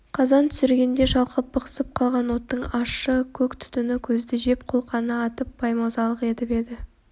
қазан түсіргенде шалқып бықсып қалған оттың ащы көк түтіні көзді жеп қолқаны атып беймазалық етіп еді